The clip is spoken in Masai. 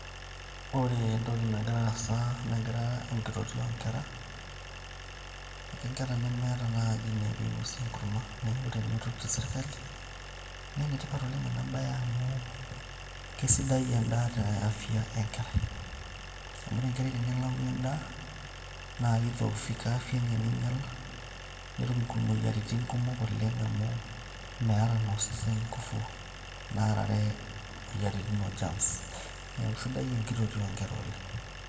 ore entoki nagira aasa naa enkitotio oo nkera, inkera nemeeta naaji enepuo ainosie enkurma neeku enitoti serkali naa enetipat naleng ena baye amu kesidai en'daa te afya e nkerai amu ore enkerai tenelau en'daa naa kinyiala biotisho enye naa ketum imoyiaritin kumok amuua meeta naa osesen inkuvu naarare imoyiaritin o CS[germs]CS neeku sidai enkitotio oo nkera ole'ng.